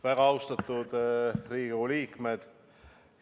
Väga austatud Riigikogu liikmed!